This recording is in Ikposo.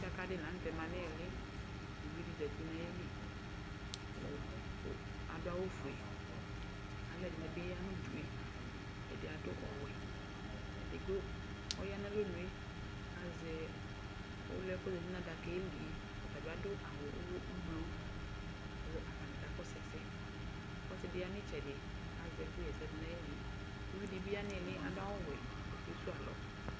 Dakadi laŋtɛ man'iŋli, uvidi zati nayili Aduawu ƒue, aluɛdini bi ya ʋudue Edi adu ɔwɛ Edigbo ɔya n'alɔnue kazɛ ɔluɛ kɔzati nadakɛlie ɔtani adʋ awʋ ʋ umlo kʋ atani kakɔsuɛsɛ Ɔsidi ya n'itsɛdi kazɛku xɛsɛ du nayilie Uvidibi ya ni'ŋli adu awu wɛ kɔkesuwu alɔ